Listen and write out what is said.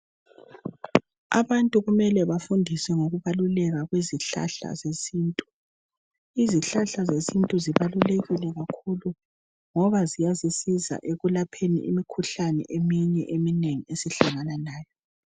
Abantu kumele bafundiswe ngokubaluleka kwezihlahla zesintu. Izihlahla zesintu zibalulekile kakhulu ngoba ziyasiza ekwelapheni umkhuhlaneni eminye eminengi esihlangana lawo.